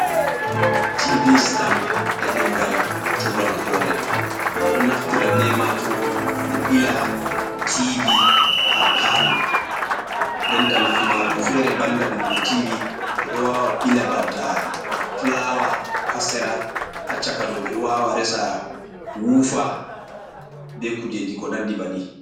Tv stand e ɗengal turankore ɓeɗo naftira be majum ɓe ɓila tv ha palo, denta nafu majum fere banda bilgo tiv, ɓeɗo wawa bila banta flawa ha sera, ha caka ɗo ɓeɗo wawa resa wufa be kujeji ko nandi banni.